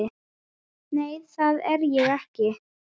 Nei, það er ég ekki.